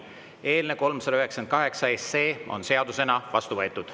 Eelnõu 398 on seadusena vastu võetud.